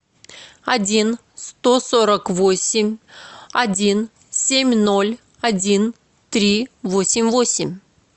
один сто сорок восемь один семь ноль один три восемь восемь